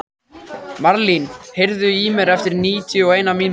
Marlín, heyrðu í mér eftir níutíu og eina mínútur.